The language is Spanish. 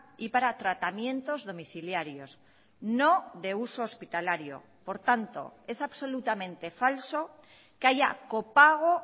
y para tratamientos domiciliarios no de uso hospitalario por tanto es absolutamente falso que haya copago